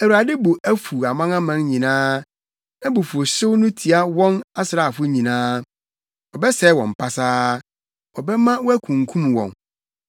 Awurade bo afuw amanaman nyinaa; nʼabufuwhyew no tia wɔn asraafo nyinaa. Ɔbɛsɛe wɔn pasaa, ɔbɛma wɔakunkum wɔn.